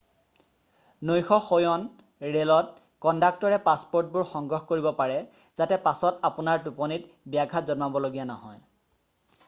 নৈশ শয়ন ৰে'লত কণ্ডাক্টৰে পাছপ'ৰ্টবোৰ সংগ্ৰহ কৰিব পাৰে যাতে পাছত আপোনাৰ টোপনিত ব্যাঘাত জন্মাবলগীয়া নহয়